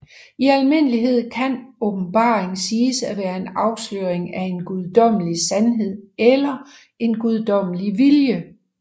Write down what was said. I almindelighed kan åbenbaringen siges at være en afsløring af en guddommelig sandhed eller en guddommelig vilje